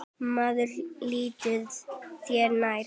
Maður líttu þér nær!